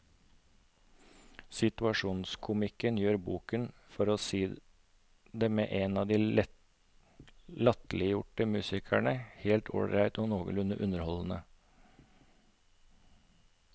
Situasjonskomikken gjør boken, for å si det med en av de latterliggjorte musikerne, helt ålreit og noenlunde underholdende.